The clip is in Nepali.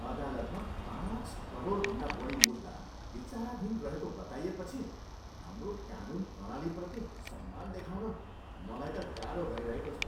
अदालतमा पाँच करोडभन्दा बढी मुद्दा विचाराधीन रहेको बताइएपछि हाम्रो कानुन प्रणालीप्रति सम्मान देखाउन मलाई त गाह्रो भइरहेको छ।